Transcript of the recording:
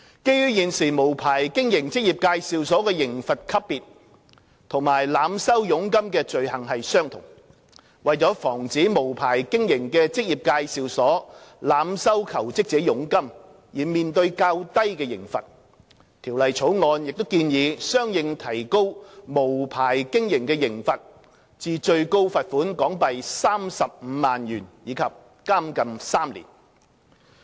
基於現時無牌經營職業介紹所的刑罰級別與濫收佣金的罪行相同，為防止無牌經營的職業介紹所濫收求職者佣金而面對較低的刑罰，《條例草案》亦建議相應提高無牌經營的刑罰至最高罰款港幣35萬元及監禁3年。